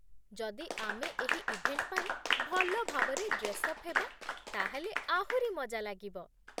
ଯଦି ଆମେ ଏହି ଇଭେଣ୍ଟ ପାଇଁ ଭଲ ଭାବରେ ଡ୍ରେସ୍ଅପ୍ ହେବା ତା'ହେଲେ ଆହୁରି ମଜା ଲାଗିବ ।